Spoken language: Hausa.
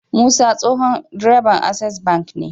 Musa tsohon direban access bank ne